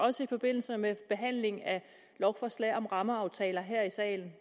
også i forbindelse med behandling af lovforslag om rammeaftaler her i salen